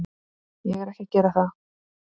Ég er ekki að gera það.